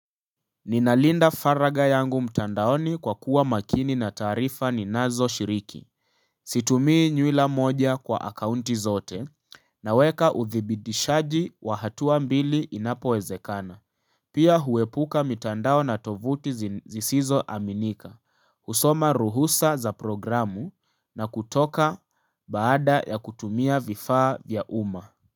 Ninalinda faraga yangu mtandaoni kwa kuwa makini na taarifa ninazo shiriki Situmii nywila moja kwa akaunti zote Naweka uthibidishaji wa hatua mbili inapowezekana Pia huepuka mitandao na tovuti zisizo aminika husoma ruhusa za programu na kutoka baada ya kutumia vifaa vya umma.